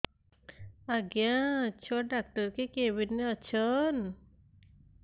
ଆଜ୍ଞା ଛୁଆ ଡାକ୍ତର କେ କେବିନ୍ ରେ ଅଛନ୍